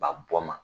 Ba bɔ ma